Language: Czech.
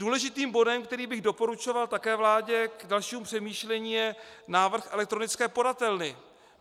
Důležitým bodem, který bych doporučoval také vládě k dalšímu přemýšlení, je návrh elektronické podatelny.